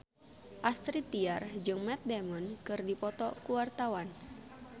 Astrid Tiar jeung Matt Damon keur dipoto ku wartawan